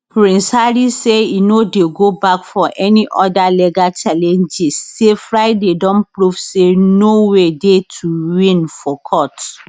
prince harry say e no dey go back for any oda legal challenge say friday don prove say no way dey to win for courts